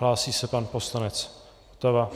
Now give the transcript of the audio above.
Hlásí se pan poslanec Votava.